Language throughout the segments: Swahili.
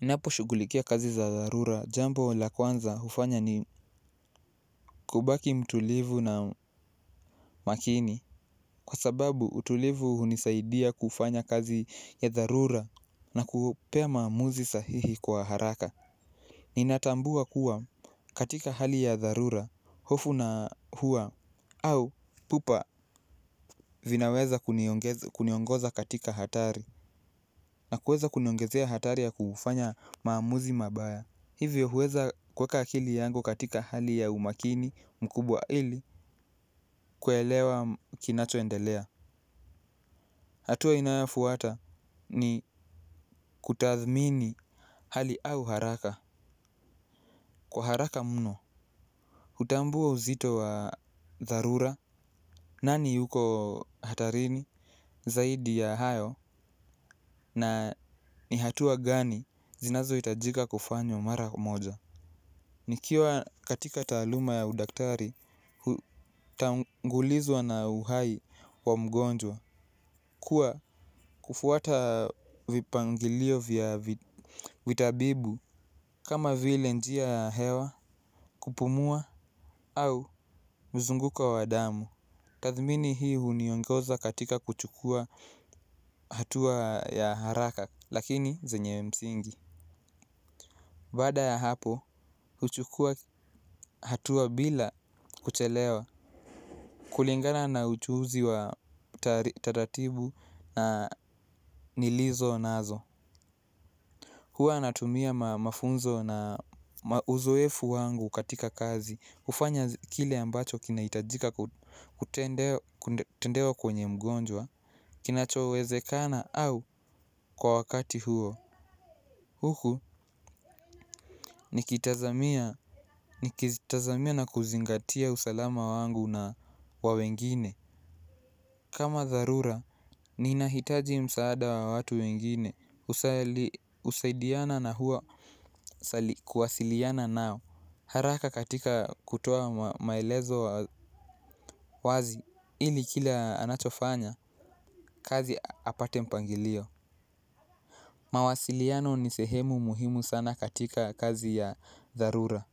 Naposhughulikia kazi za dharura, jambo la kwanza hufanya ni, kubaki mtulivu na makini, kwa sababu utulivu hunisaidia kufanya kazi ya dharura na kupea maamuzi sahihi kwa haraka. Ninatambua kuwa, katika hali ya dharura, hofu na hua au pupa vinaweza kuniongoza katika hatari. Na kuweza kuniongezea hatari ya kufanya maamuzi mabaya. Hivyo, huweza kuweka akili yangu katika hali ya umakini, mkubwa ili, kuelewa kinacho endelea. Hatua inayofuata ni kutathmini hali au haraka. Kwa haraka mno, hutambua uzito wa dharura, nani yuko hatarini, zaidi ya hayo, na ni hatua gani zinazo itajika kufanywa mara moja. Nikiwa katika taluma ya udaktari, tangulizwa na uhai wa mgonjwa, kuwa kufuata vipangilio vya vitabibu, kama vile njia ya hewa kupumua au, mzunguko wa damu. Tathmini hii, huniongoza katika kuchukua hatua ya haraka, lakini, zenye msingi. Baada ya hapo, huchukua hatua bila, kuchelewa,.Kulingana na uchuzi wa tatatibu na nilizo nazo. Hua natumia mafunzo na uzoefu wangu katika kazi. Hufanya kile ambacho kinaitajika kutendewa kwenye mgonjwa, kinachoweze kana au kwa wakati huo. Huku, nikitazamia na kuzingatia usalama wangu na wa wengine. Kama tharura, ninahitaji msaada wa watu wengine. Usaidiana na hua kuwasiliana nao. Haraka katika kutoa maelezo wazi, ili kila anachofanya kazi apate mpangilio. Mawasiliano ni sehemu muhimu sana katika kazi ya tharura.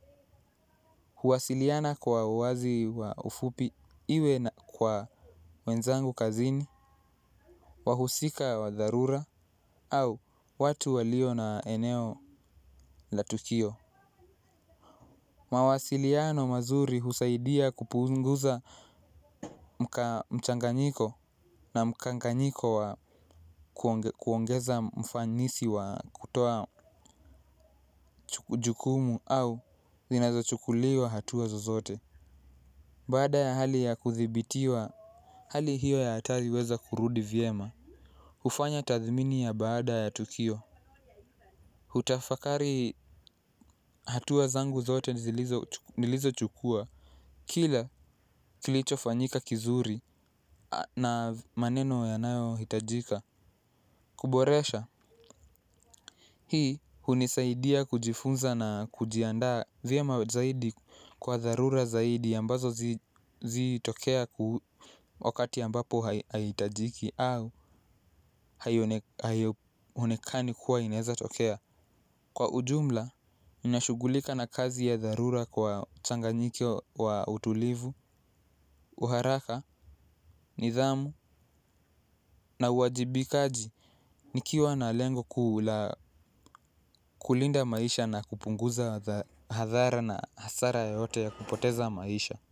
Huwasiliana kwa uwazi wa ufupi, iwe na kwa wenzangu kazini, wahusika wa tharura, au watu walio na eneo la tukio. Mawasiliano mazuri husaidia kupunguza mchanganyiko na mkanganyiko wa kuongeza mfanisi wa kutoa jukumu au, ninazo chukuliwa hatua zozote. Baada ya hali ya kuthibitiwa, hali hiyo ya hatari uweza kurudi vyema. Hufanya tathmini ya baada ya tukio. Hutafakari hatua zangu zote nilizo chukua. Kila kilicho fanyika kizuri na maneno yanayo hitajika Kuboresha Hii hunisaidia kujifunza na kujiandaa vyema zaidi kwa dharura zaidi ambazo zi tokea ku wakati ambapo haitajiki au haionekani kuwa inaeza tokea. Kwa ujumla, ninashughulika na kazi ya dharura kwa changanyiko wa utulivu. Uharaka, nidhamu na uwajibikaji nikiwa na lengo kuu la kulinda maisha na kupunguza hadhara na hasara yoyote ya kupoteza maisha.